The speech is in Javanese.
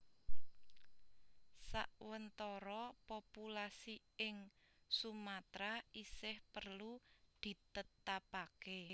Sawentara populasi ing Sumatra isih perlu ditetapake